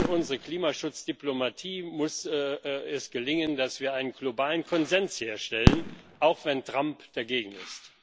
Unserer Klimaschutzdiplomatie muss es gelingen, dass wir einen globalen Konsens herstellen, auch wenn Trump dagegen ist.